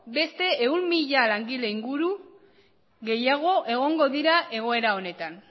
beste ehun mila langile inguru gehiago egongo dira egoera honetan